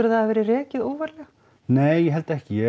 það hafi verið rekið óvarlega nei ég held ekki ég